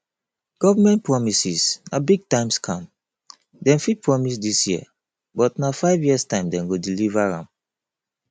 government promises na big time scam dem fit promise dis year but na five years time dem go deliver am